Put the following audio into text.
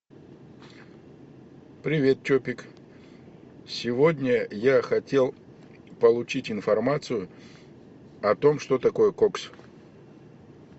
привет чопик сегодня я хотел получить информацию о том что такое кокс